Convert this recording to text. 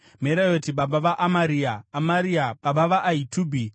Merayoti baba vaAmaria, Amaria baba vaAhitubhi,